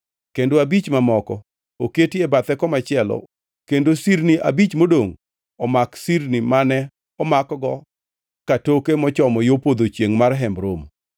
kendo abich mamoko oketi e bathe komachielo kendo sirni abich modongʼ omak sirni mane omakgo katoke mochomo yo podho chiengʼ mar Hemb Romo.